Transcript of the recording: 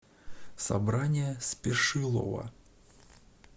собрание спешилова